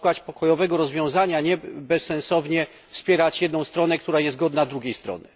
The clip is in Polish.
Trzeba szukać pokojowego rozwiązania, a nie bezsensownie wspierać jedną stronę, która jest warta drugiej strony.